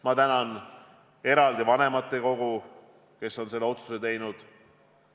Ma tänan eraldi ka vanematekogu, kes on selle otsuse teinud.